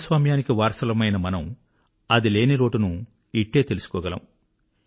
ప్రజాస్వామ్యానికి వారసులమైన మనము అది లేని లోటును ఇట్టే తెలుసుకోగలము